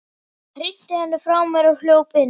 Hrinti henni frá mér og hljóp inn.